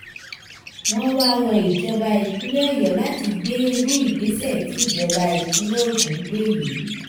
wọ́n wá rọ ìjọba ìpínlẹ̀ ọ̀yọ́ láti gbé irú ìgbésẹ̀ tí ìjọba ìpínlẹ̀ ogun gbé yìí